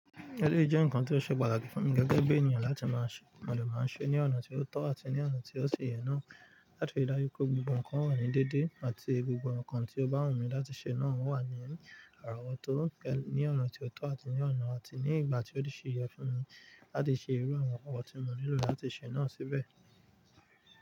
Eleyi jẹ́ ǹkan ti ó ṣe pàtàkì fún mi gẹ́gẹ́ bí ènìyàn láti máa ṣe mọ̀ dẹ́ máa ṣe ní ọ̀nà tí ó tọ́ àti ní ọ̀nà tí ó ṣe yẹ náà. Láti rí dájú pé gbogbo ǹkan wà ní dédé àti gbogbo ǹkan tí o bá wùn mí láti ṣe náà o wà ní àrà wọ̀to ní ọ̀nà tí ó tọ́ àti ní ọ̀nà àti ní ìgbà tí ó ṣe yẹ fún mi láti ṣe irú àwọn nǹkan tí mo nílò láti ṣe náà síbẹ̀.